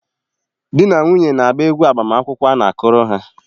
Di na nwunye na-agba egwu agbamakwụkwọ a na-akụrụ ha.